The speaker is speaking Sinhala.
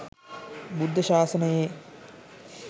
බුද්ධ ශාසනයේ